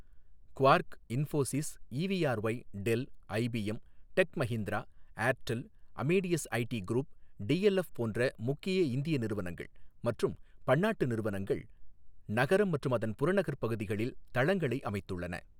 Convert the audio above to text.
Quark, Infosys, EVRY, del, IBM, Tech Mahindra, Airtel, Amadeus ID group, DLF போன்ற முக்கிய இந்திய நிறுவனங்கள் மற்றும் பன்னாட்டு நிறுவனங்கள் நகரம் மற்றும் அதன் புறநகர் பகுதிகளில் தளங்களை அமைத்துள்ளன.